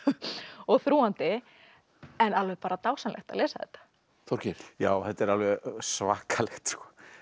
og þrúgandi en alveg bara dásamlegt að lesa þetta Þorgeir já þetta er alveg svakalegt